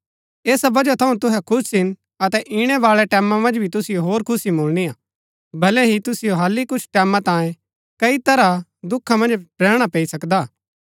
ऐसा वजह थऊँ तुहै खुश हिन अतै इणै बाळै टैमां मन्ज भी तुसिओ होर खुशी मुळणी हा भलै ही तुसिओ हालि कुछ टैमां तांयें कई तरह दुखा मन्ज रैहणा पैई सकदा हा